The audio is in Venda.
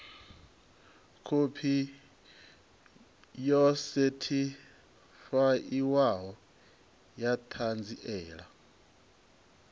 khophi yo sethifaiwaho ya ṱhanziela